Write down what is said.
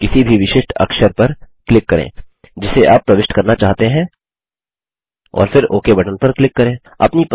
अब किसी भी विशिष्ट अक्षर पर क्लिक करें जिसे आप प्रविष्ट करना चाहते हैं और फिर ओक बटन पर क्लिक करें